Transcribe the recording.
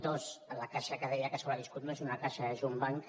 dos la caixa que deia que ha sobreviscut no és una caixa és un banc